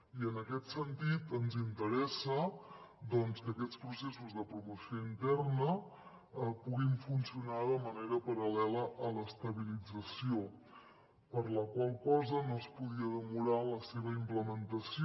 i en aquest sentit ens interessa que aquests processos de promoció interna puguin funcionar de manera paral·lela a l’estabilització per la qual cosa no es podia demorar la seva implementació